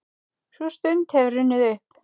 Sú stund hefur runnið upp.